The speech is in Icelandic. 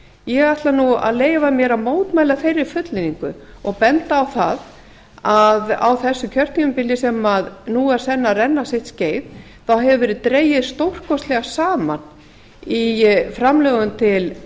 ég ætla að leyfa mér að mótmæla þeirri fullyrðingu og bendi á að á þessu kjörtímabili sem nú er senn að renna sitt skeið hefur verið dregið stórkostlega saman í framlögum til